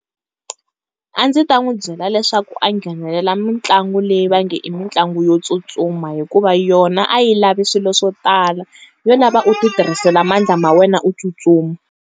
A ndzi ta n'wi byela leswaku a nghenelela mitlangu leyi va nge i mitlangu yo tsutsuma hikuva yona a yi lavi swilo swo tala, yo lava u ti tirhisela mandla ma wena u tsutsuma.